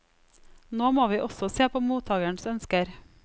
Nå må vi også se på mottagerens ønsker.